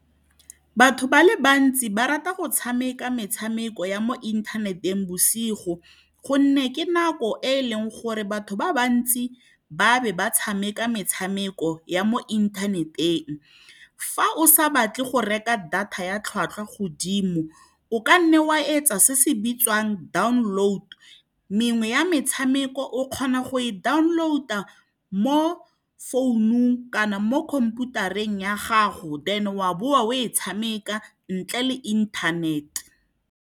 Batho ba le bantsi ba rata go tshameka metshameko ya mo inthaneteng bosigo, gonne ke nako e e leng gore batho ba bantsi ba be ba tshameka metshameko ya mo inthaneteng. Fa o sa batle go reka data ya tlhwatlhwa godimo, o ka nna wa etsa se se bitswang download mengwe ya metshameko o kgona go e download-a mo founung kana mo khomphutareng ya gago, then wa boa o e tshameka ntle le inthanete.